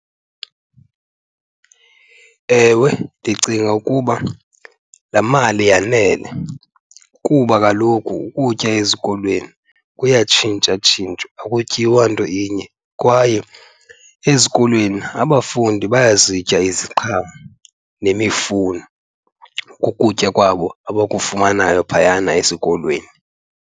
Ewe, ndicinga ukuba laa mali yanele kuba kaloku ukutya ezikolweni kuyatshintshatshintshwa, akutyiwa nto inye. Kwaye ezikolweni abafundi bayazitya iziqhamo nemifuno kukutya kwabo abakufumanayo phayana esikolweni.